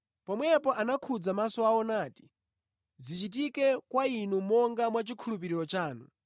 Pomwepo anakhudza maso awo nati, “Zichitike kwa inu monga mwachikhulupiriro chanu.”